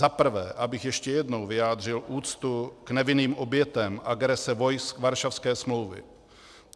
Za prvé, abych ještě jednou vyjádřil úctu k nevinným obětem agrese vojsk Varšavské smlouvy.